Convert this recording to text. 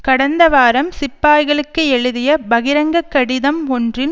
கடந்த வாரம் சிப்பாய்களுக்கு எழுதிய பகிரங்க கடிதம் ஒன்றில்